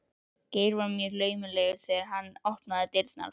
Geir var mjög laumulegur þegar hann opnaði dyrnar.